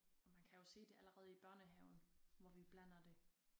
Og man kan jo se det allerede i børnehaven hvor vi blander det